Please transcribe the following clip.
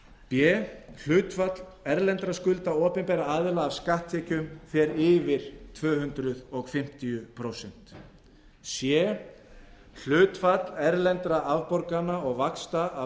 b hlutfall erlendra skulda opinberra aðila af skatttekjum fer yfir tvö hundruð fimmtíu prósent c hlutfall erlendra afborgana og vaxta af